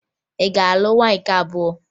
Ị ga-alụ nwaanyị nke abụọ!